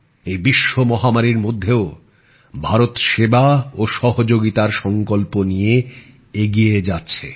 এই বিশ্ব মহামারীর মধ্যেও ভারত সেবা ও সহযোগিতার সংকল্প নিয়ে এগিয়ে যাচ্ছে